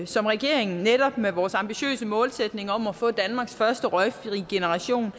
som regeringen netop med vores ambitiøse målsætning om at få danmarks første røgfrie generation